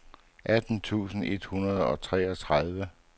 atten tusind et hundrede og treogtredive